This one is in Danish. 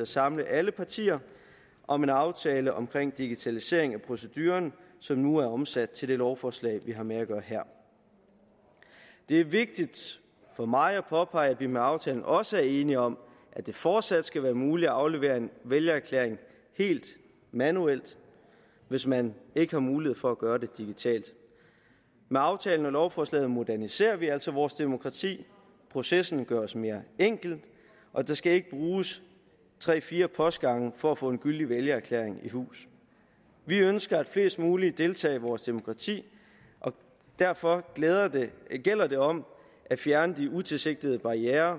at samle alle partier om en aftale omkring digitalisering af proceduren som nu er omsat til det lovforslag vi har med at gøre her det er vigtigt for mig at påpege at vi med aftalen også er enige om at det fortsat skal være muligt at aflevere en vælgererklæring helt manuelt hvis man ikke har mulighed for at gøre det digitalt med aftalen og lovforslaget moderniserer vi altså vores demokrati processen gøres mere enkel og der skal ikke bruges tre fire postgange for at få en gyldig vælgererklæring i hus vi ønsker at flest mulige deltager i vores demokrati og derfor gælder det om at fjerne de utilsigtede barrierer